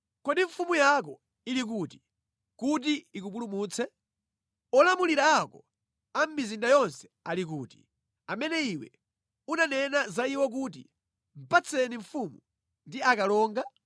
Kodi mfumu yako ili kuti, kuti ikupulumutse? Olamulira ako a mʼmizinda yonse ali kuti, amene iwe unanena za iwo kuti, ‘Patseni mfumu ndi akalonga?’